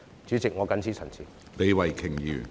主席，我謹此陳辭。